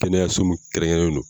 Kɛnɛyaso min kɛrɛn kɛrɛnlen do.